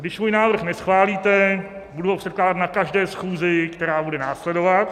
Když můj návrh neschválíte, budu ho předkládat na každé schůzi, která bude následovat.